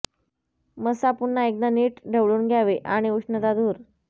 मस्सा पुन्हा एकदा नीट ढवळून घ्यावे आणि उष्णता दूर